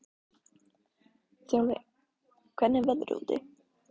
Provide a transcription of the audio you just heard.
Þjálfi, hvernig er veðrið úti?